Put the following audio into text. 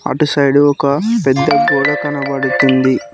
అటు సైడ్ ఒక పెద్ద గోడ కనపడుతుంది.